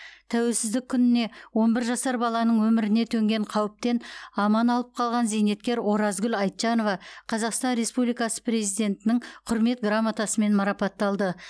тәуелсіздік күніне он бір жасар баланың өміріне төнген қауіптен аман алып қалған зейнеткер оразкүл айтжанова қазақстан республикасы президентінің құрмет грамотасымен марапатталды